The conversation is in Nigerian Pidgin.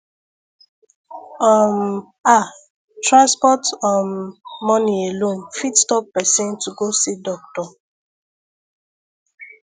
um ah transport um money alone fit stop person to go see doctor